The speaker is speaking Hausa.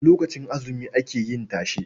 Lokacin azumi ake yin tashe.